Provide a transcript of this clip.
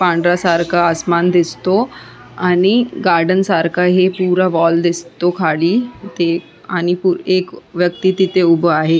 पांढरा सारखा आसमान दिसतो आणि गार्डन सारखा हे पुरा वॉल दिसतो खाली ते आणि एक व्यक्ती तिथे उभा आहे.